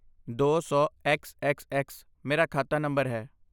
ਦੋ ਸੌ X X X ਮੇਰਾ ਖਾਤਾ ਨੰਬਰ ਹੈ